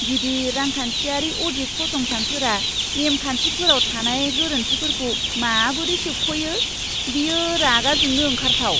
गिदिर रांखान्थियारि अ'डिट फसंथानफोरा नेम खान्थिफोराव थानाय गोरोन्थिफोरखौ माबोरै सोबख'यो, बेयो रागा जोंनो ओंखारथाव!